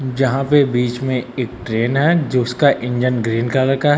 जहां पे बीच में एक ट्रेन है जोसका इंजन ग्रीन कलर का है।